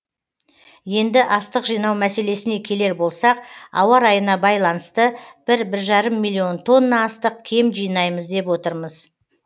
енді астық жинау мәселесіне келер болсақ ауа райына байланыста бір бір жарым миллион тонна астық кем жинаймыз деп отырмыз